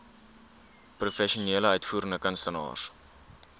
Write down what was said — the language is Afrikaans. professionele uitvoerende kunstenaars